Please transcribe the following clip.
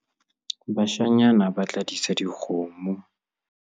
bashanyana ba tla disa dikgomo